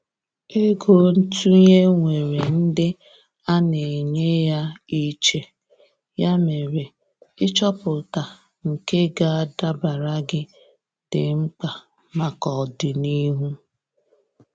Ego ntụnye nwèrè ndị ana enye ya iche, ya mere ịchọpụta nke ga adabara gị, di mkpa maka ọdịnihu.